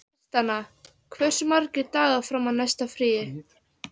Tristana, hversu margir dagar fram að næsta fríi?